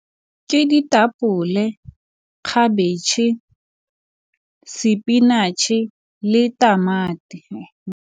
Ke ditapole, khabetšhe spinatšhe le tamati.